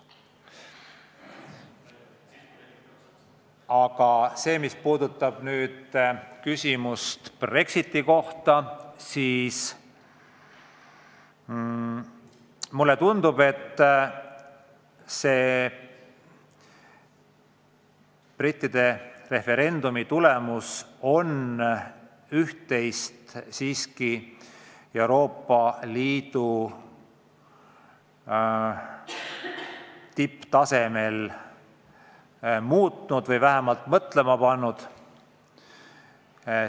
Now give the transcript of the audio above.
Aga mis puudutab Brexitit, siis mulle tundub, et brittide referendumi tulemus on üht-teist Euroopa Liidu tipptasemel muutnud või vähemalt mõtlema pannud.